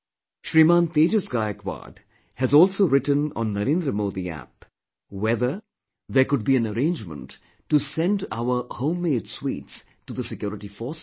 Shriman Tejas Gaikwad has also written on NarendramodiApp whether there could be an arrangement to send our homemade sweets to the security forces